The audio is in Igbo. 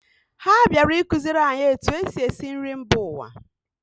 Ha bịara ịkụziri anyị etu e si esi nri mba ụwa